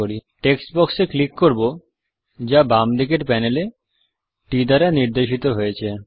text box এ click করব যা বাম দিকের প্যানেল এ T দ্বারা নির্দেশিত হয়েছে